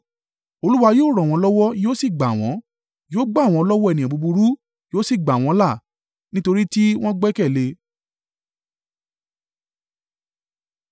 Olúwa yóò ràn wọ́n lọ́wọ́ yóò sì gbà wọ́n; yóò gbà wọ́n lọ́wọ́ ènìyàn búburú, yóò sì gbà wọ́n là, nítorí tí wọ́n gbẹ́kẹ̀lé e.